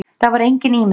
Það var engin ímyndun.